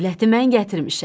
Dövləti mən gətirmişəm.